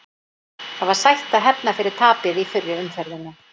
Það var sætt að hefna fyrir tapið í fyrri umferðinni.